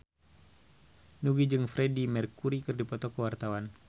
Nugie jeung Freedie Mercury keur dipoto ku wartawan